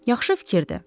Yaxşı fikirdir.